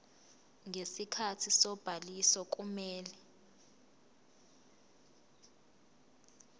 ngesikhathi sobhaliso kumele